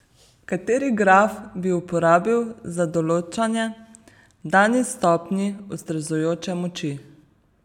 Kateri graf bi uporabil za določanje dani stopnji ustrezajoče moči?